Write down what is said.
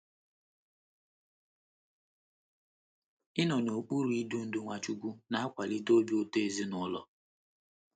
Ịnọ n’okpuru idu ndú Nwachukwu na - akwalite obi ụtọ ezinụlọ